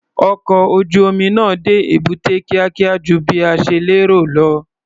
Ọkọ̀ ojú-omi náà dé èbúté kíákíá ju bí a ṣe lérò lọ.